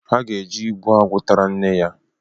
Ha ga-eje igbu agwụ tara nna ya